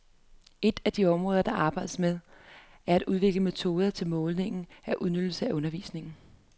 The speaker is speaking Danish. Ét af de områder der arbejdes med, er at udvikle metoder til måling af udbytte af undervisningen.